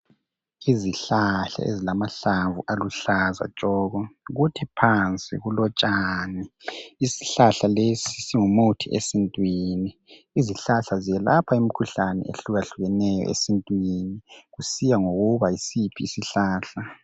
Isihlahla ezilamahlamvu aluhlaza tshoko .Kuthi phansi kulotshani . Isihlahla lesi singumuthi esintwini. Izihlahla zelapha imikhihlane ehlukahlukeneyo esintwini kusiya ngokuthi yisiphi isihlahla.